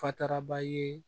Fataraba ye